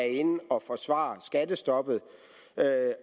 inde at forsvare skattestoppet